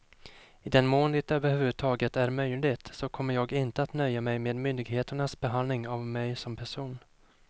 I den mån det över huvud taget är möjligt så kommer jag inte att nöja mig med myndigheternas behandling av mig som person.